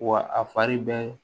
Wa a fari bɛɛ